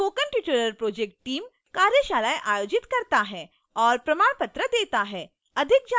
spoken tutorial project team: कार्यशालाएं आयोजित करता है और प्रमाण पत्र देता है